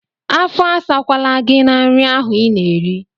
Afọ asakwala gị na nri ahụ ị na-eri!